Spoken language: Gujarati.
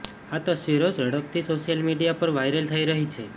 આ તસવીરો ઝડપથી સોશિયલ મીડિયા પર વાઇરલ થઈ રહી છે